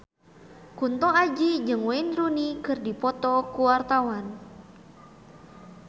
Kunto Aji jeung Wayne Rooney keur dipoto ku wartawan